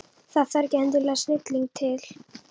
Það þarf ekki endilega snilling til.